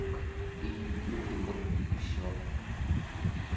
ну как и ну блин вот и все